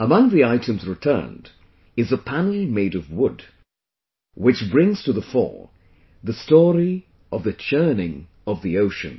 Among the items returned is a panel made of wood, which brings to the fore the story of the churning of the ocean